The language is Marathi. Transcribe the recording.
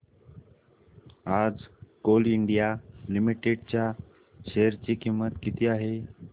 आज कोल इंडिया लिमिटेड च्या शेअर ची किंमत किती आहे